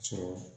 Sɔrɔ